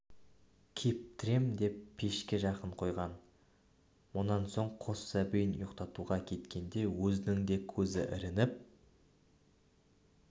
кептірем деп пешке жақын қойған мұнан соң қос сәбиін ұйықтатуға кеткенде өзінің де көзі ілініп